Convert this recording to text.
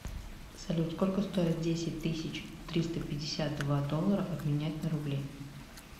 салют сколько стоит десять тысяч триста пятьдесят два доллара обменять на рубли